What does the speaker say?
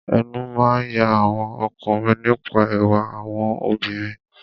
Ẹnu máa ń ya àwọn ọkùnrin nípa ẹwà àwọn obìnrin.